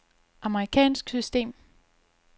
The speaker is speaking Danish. amerikansk system